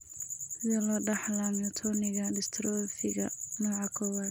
Sidee loo dhaxlaa myotoniga dystrophiga nooca kowaad?